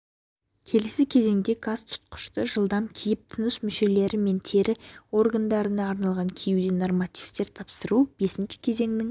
келесі кезеңде газ тұтқышты жылдам киіп тыныс мүшелері мен тері органдарына арналған киюден нормативтер тапсыру бесінші кезеңнің